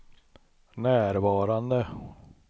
närvarande